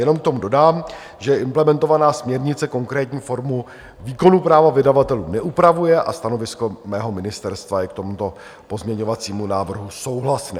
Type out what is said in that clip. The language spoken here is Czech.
Jenom k tomu dodám, že implementovaná směrnice konkrétní formu výkonu práva vydavatelů neupravuje a stanovisko mého ministerstva je k tomuto pozměňovacímu návrhu souhlasné.